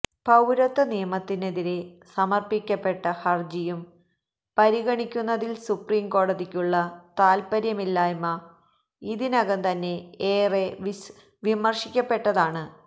പൌരത്വ നിയമത്തിനെതിരെ സമര്പ്പിക്കപ്പെട്ട ഹര്ജിയും പരിഗണിക്കുന്നതില് സുപ്രീം കോടതിക്കുള്ള താല്പര്യമില്ലായ്മ ഇതിനകം തന്നെ ഏറെ വിമര്ശിക്കപ്പെട്ടതാണ്